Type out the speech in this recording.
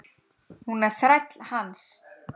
Hún er þræll hans.